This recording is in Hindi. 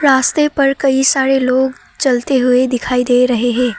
रास्ते पर कई सारे लोग चलते हुए दिखाई दे रहे हैं।